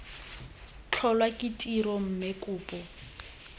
tlholwa ke tiro mme kopo